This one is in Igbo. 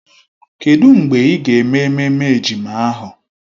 Kedụ mgbe ị ga-eme ememme ejima ahụ?